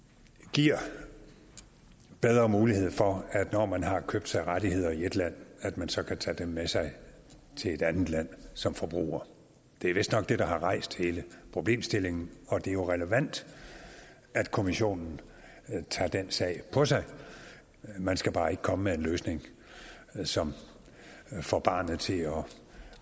giver bedre mulighed for når man har købt sig rettigheder i et land at man så kan tage dem med sig til et andet land som forbruger det er vistnok det der har rejst hele problemstillingen og det er jo relevant at kommissionen tager den sag på sig man skal bare ikke komme med en løsning som får barnet til at